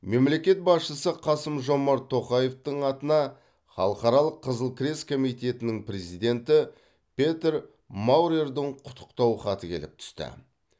мемлекет басшысы қасым жомарт тоқаевтың атына халықаралық қызыл крест комитетінің президенті петер маурердің құттықтау хаты келіп түсті